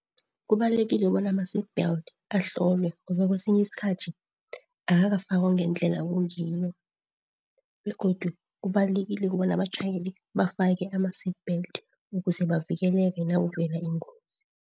Kubalulekile bona ama-seatbelt ahlolwe ngoba kwesinye isikhathi akakafakwa ngendlela kungiyo begodu kubalulekile ukobana abatjhayele bafake ama-seatbelt ukuze bavikeleke nakuvelela ingozi.